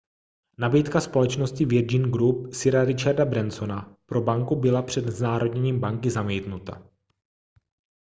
nabídka společnosti virgin group sira richarda bransona pro banku byla před znárodněním banky zamítnuta